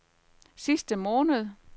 sidste måned